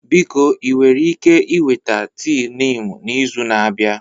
Biko ị nwere ike iweta tii Niimu n'izu na-abịa?